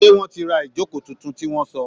Seé wọ́n ti ra ìjókòó tuntun tí wọ́n sọ̀?